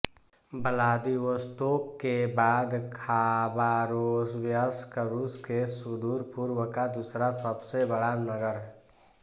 Vladivostok के बाद Khabarovsk रूस के सुदूरपूर्व का दूसरा सब से बड़ा नगर है